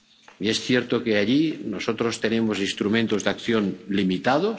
Y es cierto que allí nosotros tenemos instrumentos de acción limitados.